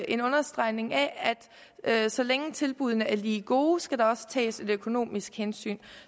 en understregning af at så længe tilbuddene er lige gode skal der også tages et økonomisk hensyn